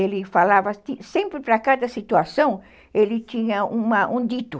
Ele falava... Sempre, para cada situação, ele tinha uma, um dito.